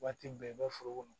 Waati bɛɛ i bɛ foro kɔnɔ